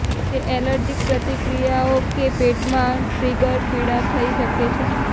તે એલર્જીક પ્રતિક્રિયાઓ કે પેટમાં ટ્રિગર પીડા થઇ શકે છે